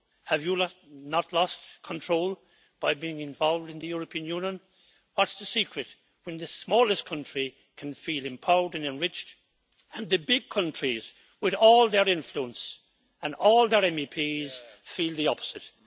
Have you not lost control by being involved in the European Union? What is the secret, when the smallest country can feel empowered and enriched, and the big countries, with all their influence and all their MEPs, feel the opposite.